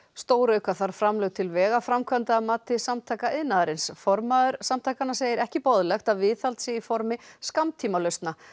stórauka þarf framlög til vegaframkvæmda að mati Samtaka iðnaðarins formaður samtakanna segir ekki boðlegt að viðhald sé í formi skammtímalausna